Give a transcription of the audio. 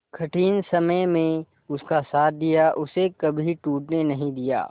कठिन समय में उसका साथ दिया उसे कभी टूटने नहीं दिया